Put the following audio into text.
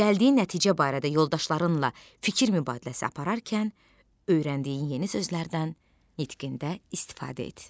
Gəldiyi nəticə barədə yoldaşlarınla fikir mübadiləsi apararkən öyrəndiyin yeni sözlərdən nitqində istifadə et.